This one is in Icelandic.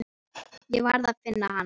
Ég varð að finna hann.